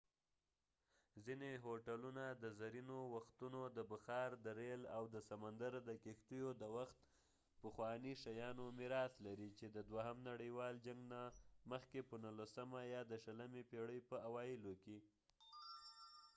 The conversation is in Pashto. ځینی هوټلونه د زرینو وختونو د بخار د ریل او د سمندر د کښتیو د وخت پخوانی شيانو میراث لري، چې د دوهم نړیوال جنګ نه مخکې ،په نوولسمه یا د شلمی پیړۍ په اوایلو کې